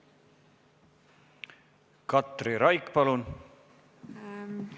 Katri Raik, palun!